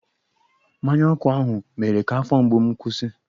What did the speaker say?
Mmanya ọkụ ahụ mere ka afọ mgbu m kwụsị.